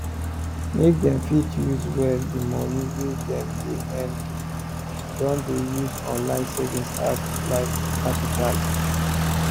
make dem fit use well di money wey dem dey earn people don dey use online saving apps like qapital